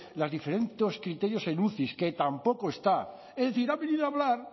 los diferentes criterios en uci que tampoco está es decir ha venido a hablar